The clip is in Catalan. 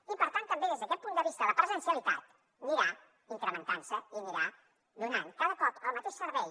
i per tant també des d’aquest punt de vista la presencialitat anirà incrementant se i anirà donant cada cop el mateix servei